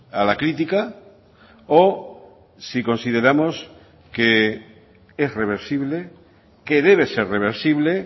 a la crítica o si consideramos que es reversible que debe ser reversible